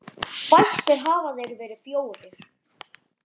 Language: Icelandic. Fæstir hafa þeir verið fjórir.